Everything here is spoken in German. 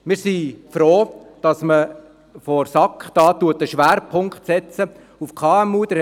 Wir sind froh, dass man von Seiten der SAK einen Schwerpunkt auf KMU setzt.